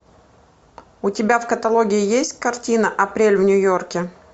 у тебя в каталоге есть картина апрель в нью йорке